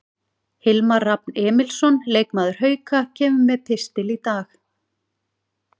Hilmar Rafn Emilsson, leikmaður Hauka, kemur með pistil í dag.